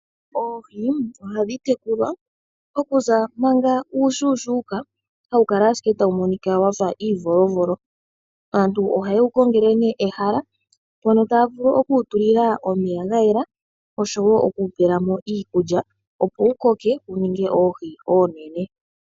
Oohi ohadhi tekulwa okuza manga uushuushuuka, hawu kala ashike tawu monika wafa iivolovolo. Aantu oha yewu kongele nee ehala mpono taya vulu okuwu tulila omeya ga yela, oshowo okuwu pelamo iikulya, opo wu koke wu ninge oohi oonene.